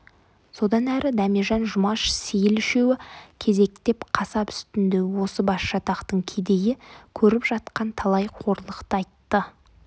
содан әрі дәмежан жұмаш сейіл үшеуі кезектеп қасап үстінде осы басжатақтың кедейі көріп жатқан талай қорлықты айтты